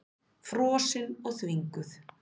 Frosin og þvinguð.